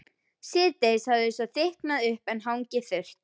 Síðdegis hafði svo þykknað upp en hangið þurrt.